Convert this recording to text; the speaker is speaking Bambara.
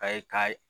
A ye ka ye